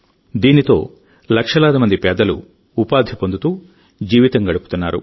దీంతో లక్షలాది మంది పేదలు ఉపాధి పొందుతూ జీవితం గడుపుతున్నారు